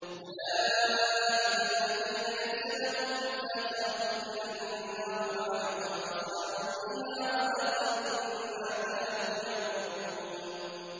أُولَٰئِكَ الَّذِينَ لَيْسَ لَهُمْ فِي الْآخِرَةِ إِلَّا النَّارُ ۖ وَحَبِطَ مَا صَنَعُوا فِيهَا وَبَاطِلٌ مَّا كَانُوا يَعْمَلُونَ